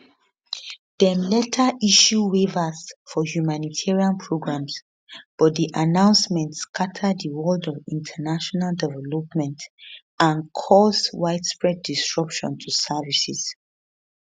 dem later issue waivers for humanitarian programmes but di announcement scata di world of international development and cause widespread disruption to services